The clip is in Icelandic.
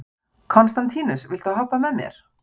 Konstantínus, viltu hoppa með mér?